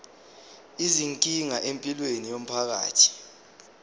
izinkinga empilweni yomphakathi